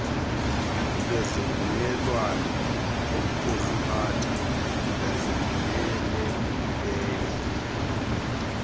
lwezivumelwano zokuziphatha ezivumelekileyo